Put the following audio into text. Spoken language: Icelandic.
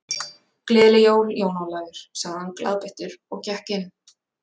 Gleðileg jól, Jón Ólafur sagði hann glaðbeittur og gekk inn.